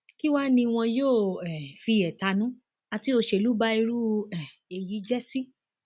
kí wàá ní wọn yóò um fi ẹtanú àti òṣèlú ba irú um èyí jẹ sí